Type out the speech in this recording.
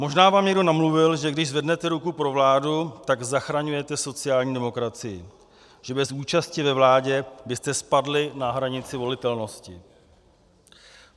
Možná vám někdo namluvil, že když zvednete ruku pro vládu, tak zachraňujete sociální demokracii, že bez účasti ve vládě byste spadli na hranici volitelnosti.